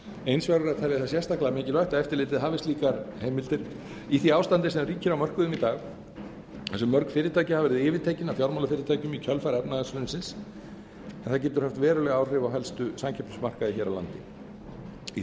eins verður að telja það sérstaklega mikilvægt að eftirlitið hafi slíkar heimildir í því ástandi sem ríkir á mörkuðum í dag þar sem mörg fyrirtæki hafa verið yfirtekin af fjármálafyrirtækjum í kjölfar efnahagshrunsins en það getur haft veruleg áhrif á helstu samkeppnismarkaði hér á landi í